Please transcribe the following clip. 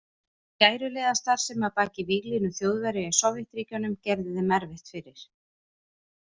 Skæruliðastarfsemi að baki víglínu Þjóðverja í Sovétríkjunum gerði þeim erfitt fyrir.